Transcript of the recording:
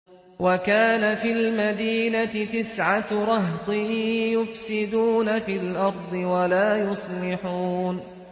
وَكَانَ فِي الْمَدِينَةِ تِسْعَةُ رَهْطٍ يُفْسِدُونَ فِي الْأَرْضِ وَلَا يُصْلِحُونَ